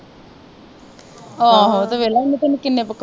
ਆਹੋ ਤੇ ਵੇਖਲਾ ਇਹਨੇ ਤੈਨੂੰ ਕਿਨ੍ਹੇ